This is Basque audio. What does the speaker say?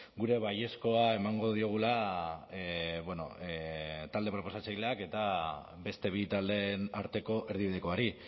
gure baiezkoa emango diogula talde proposatzaileak eta beste bi taldeen arteko erdibidekoari